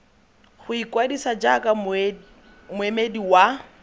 go ikwadisa jaaka moemedi wa